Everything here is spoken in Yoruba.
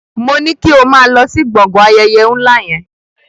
Moní kí o máa lọ sí gbọ̀ngàn ayẹyẹ ńlá yẹn!